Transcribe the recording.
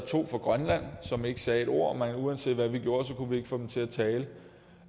to fra grønland som ikke sagde et ord uanset hvad vi gjorde kunne vi ikke få dem til at tale